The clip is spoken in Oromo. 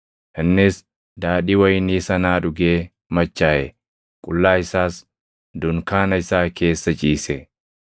Innis daadhii wayinii sanaa dhugee machaaʼe; qullaa isaas dunkaana isaa keessa ciise.